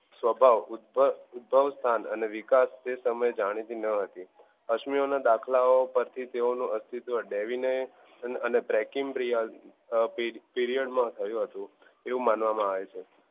સવભાવ ઉદ્ભવ સ્થાન અને વિકાસ તે સમય જાણીતી નો હતી અશ્મી ઓ ના દાખલા ઓ પરથી તેઓ ન breaking period માં થયું હતું એવું માનવા માં આવે છે.